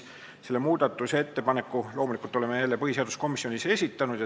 Selle muudatusettepaneku oleme loomulikult jälle meie põhiseaduskomisjonis esitanud.